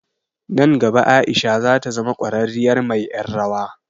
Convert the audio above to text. Nan gaba Aisha zata zama ƙwararriyar mai ƴar rawa.